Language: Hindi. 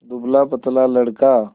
दुबलापतला लड़का